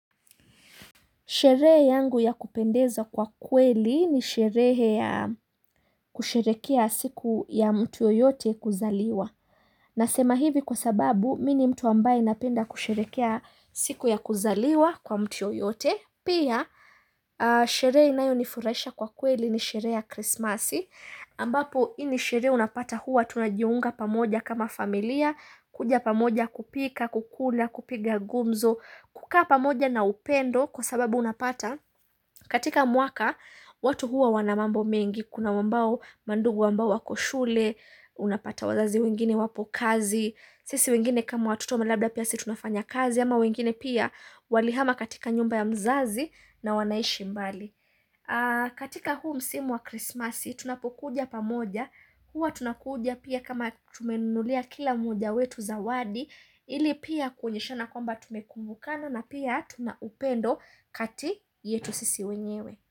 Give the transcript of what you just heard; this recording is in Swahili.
Sherehe yangu ya kupendeza kwa kweli ni sherehe ya kusherehekea siku ya mtu yeyote kuzaliwa. Nasema hivi kwa sababu, mimi ni mtu ambaye anapenda kusherekea siku ya kuzaliwa kwa mtuu yeyote. Pia, sherehe inayonifurahisha kwa kweli ni sherehe ya Krismasi. Ambapo, hii ni sherehe unapata huwa, tunajiunga pamoja kama familia, kuja pamoja kupika, kukula, kupiga gumzo, kukaa pamoja na upendo kwa sababu unapata katika mwaka watu huwa wana mambo mengi Kuna ambao mandugu ambao wako shule, unapata wazazi wengine wapo kazi. Sisi wengine kama watoto labda pia sisi tunafanya kazi ama wengine pia walihama katika nyumba ya mzazi na wanaishi mbali katika huu msimu wa krismasi tunapokuja pamoja Huwa tunakuja pia kama tumenunulia kila mmoja wetu zawadi ili pia kuonyeshana kwamba tumekumbukana na pia tuna upendo kati yetu sisi wenyewe.